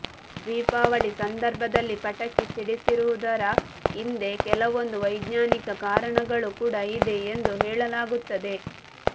ದೀಪಾವಳಿ ಸಂದರ್ಭದಲ್ಲಿ ಪಟಾಕಿ ಸಿಡಿಸುವುದರ ಹಿಂದೆ ಕೆಲವೊಂದು ವೈಜ್ಞಾನಿಕ ಕಾರಣಗಳು ಕೂಡ ಇದೆ ಎಂದು ಹೇಳಲಾಗುತ್ತದೆ